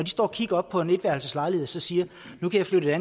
står og kigger op på en etværelseslejlighed så siger de at nu kan jeg